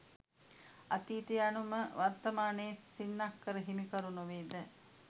අතීතය යනු ම වර්තමානයේ සින්නක්කර හිමිකරු නොවේ ද?